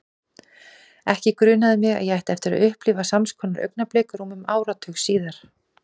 Ekki grunaði mig að ég ætti eftir að upplifa sams konar augnablik rúmum áratug síðar.